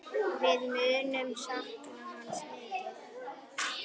Við munum sakna hans mikið.